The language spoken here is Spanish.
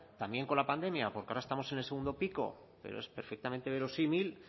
también con la pandemia porque ahora estamos en el segundo pico pero es perfectamente verosímil